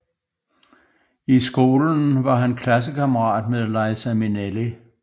I skolen var han klassekammerat med Liza Minnelli